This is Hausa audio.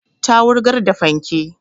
Ta wurgar da fanke